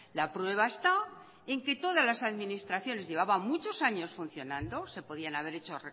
la prueba está en que todas las administraciones llevaban muchos años funcionando se podían haber hecho